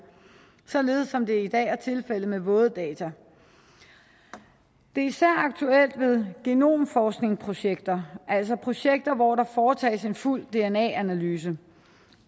sådan som det i dag er tilfældet med våde data det er især aktuelt ved genomforskningsprojekter altså projekter hvor der foretages en fuld dna analyse